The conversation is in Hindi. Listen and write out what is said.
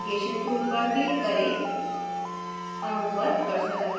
tool bar में navigation tool पर click करें